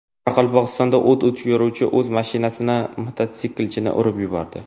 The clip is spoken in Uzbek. Qoraqalpog‘istonda o‘t o‘chiruvchi o‘z mashinasida mototsiklchini urib yubordi.